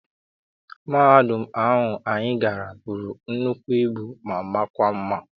Mahadum ahu anyị gara bụrụ nnukwu ibu ma makwa mma.